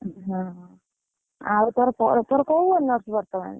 ଉଁ ହଁ ହଁ, ଆଉ ତୋର ପରି ତୋର କୋଉ honours ବର୍ତମାନ?